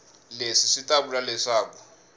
leswi swi ta vula leswaku